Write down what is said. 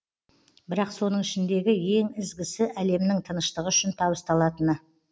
бірақ соның ішіндегі ең ізгісі әлемнің тыныштығы үшін табысталатыны